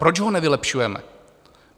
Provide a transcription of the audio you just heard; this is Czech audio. Proč ho nevylepšujeme?